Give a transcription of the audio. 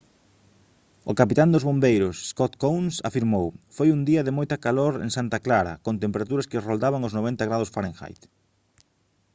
o capitán dos bombeiros scott kouns afirmou: «foi un día de moita calor en santa clara con temperaturas que roldaban os 90 ºf